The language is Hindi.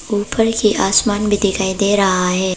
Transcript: ऊपर की आसमान भी दिखाई दे रहा है।